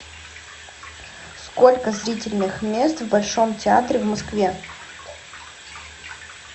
сколько зрительных мест в большом театре в москве